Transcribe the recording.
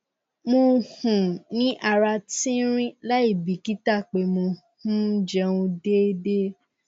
mo um ní ara tínrín láìbìkítà pé mò ń um jẹun déédé